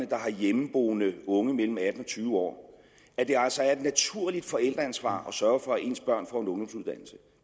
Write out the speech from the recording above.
der har hjemmeboende unge på mellem atten og tyve år at det altså er et naturligt forældreansvar at sørge for at ens børn får